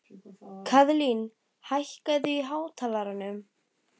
Kaðlín, hækkaðu í hátalaranum.